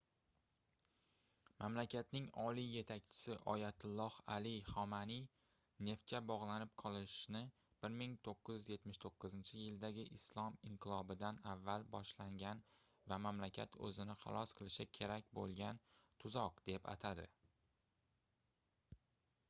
mamlakatning oliy yetakchisi oyatulloh ali xomanaiy neftga bogʻlanib qolishni 1979-yildagi islom inqilobidan avval boshlangan va mamlakat oʻzini xalos qilishi kerak boʻlgan tuzoq deb atadi